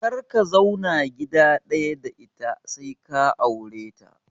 Kar ka zauna gida ɗaya da ita sai ka aure ta!